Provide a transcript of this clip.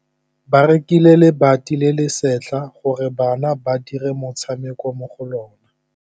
Ba rekile lebati le le setlha gore bana ba dire motshameko mo go lona.